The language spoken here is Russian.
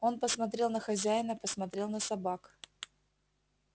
он посмотрел на хозяина посмотрел на собак